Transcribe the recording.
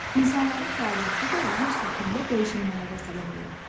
İnsanların fəaliyyəti də yer səthində dəyişmələrə səbəb olur.